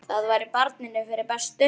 Það væri barninu fyrir bestu.